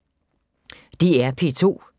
DR P2